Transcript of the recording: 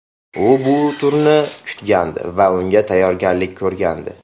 U bu turni kutgandi va unga tayyorgarlik ko‘rgandi.